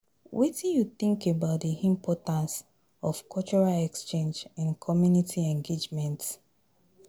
Wetin you think about di importance of cultural exchange in community engagement?